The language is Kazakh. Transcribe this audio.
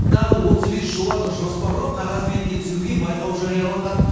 тағы отыз бес жобаны жоспарлап қағаз бетіне түсіруге байқау жарияланған